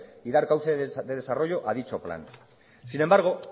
y dar cauce de desarrollo a dicho plan sin embargo